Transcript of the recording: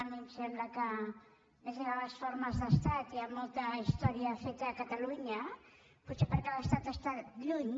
a mi em sembla que és de les formes d’estat hi ha molta història feta a catalunya potser perquè l’estat està lluny